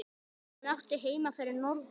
Hún átti heima fyrir norðan.